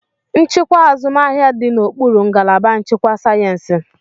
Nchịkwa azụmahịa dị n'okpuru ngalaba nchịkwa sayensị.